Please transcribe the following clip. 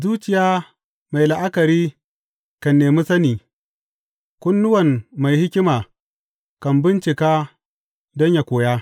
Zuciya mai la’akari kan nemi sani; kunnuwan mai hikima kan bincika don yă koya.